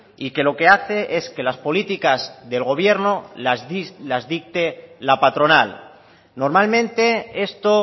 y que lo que hace es que las políticas del gobierno las dicte la patronal normalmente esto